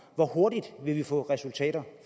hvor hurtigt vil vi få resultater